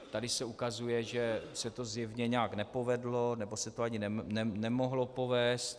Tady se ukazuje, že se to zjevně nějak nepovedlo, nebo se to ani nemohlo povést.